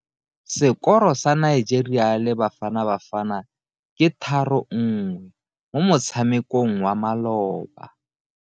Sekoro sa Nigeria le Bafanabafana ke 3 1 mo motshamekong wa maloba.